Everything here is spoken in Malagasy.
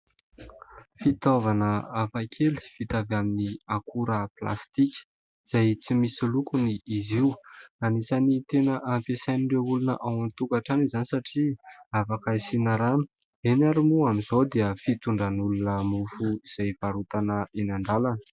Fitaovana hafakely vita avy amin'ny akora plastika izay tsy misy lokony izy io. Anisan'ny tena ampiasain'ireo olona ao an-tokatrano izany satria afaka asiana rano. Ireny ary moa amin'izao dia fitondran'ny olona mofo izay varotana eny an-dalana.